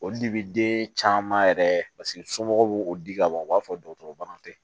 Olu de bi den caman yɛrɛ somɔgɔw b'o di kaban u b'a fɔ dɔgɔtɔrɔ tɛ